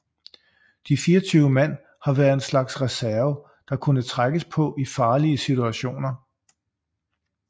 De 24 mand har været en slags reserve der kunne trækkes på i farlige situationer